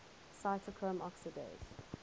cytochrome oxidase